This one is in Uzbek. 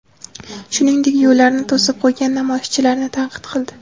Shuningdek, yo‘llarni to‘sib qo‘ygan namoyishchilarni tanqid qildi.